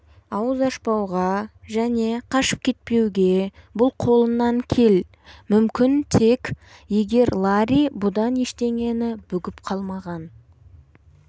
ауыз ашпауға және қашып кетуге бұл қолынан кел мүмкін тек егер ларри бұдан ештеңені бүгіп қалмаған